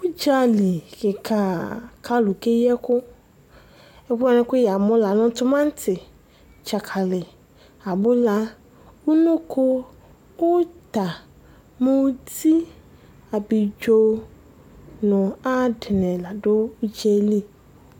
Udzali kika ku alulu keyi ɛku Ɛkuani ku yamu la nu timati dzakali abula unoko uta muti ablidzo nu adini la du udza yɛ li